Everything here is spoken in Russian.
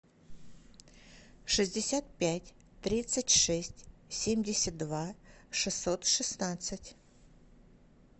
шестьдесят пять тридцать шесть семьдесят два шестьсот шестнадцать